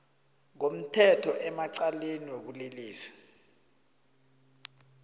ngomthetho emacaleni wobulelesi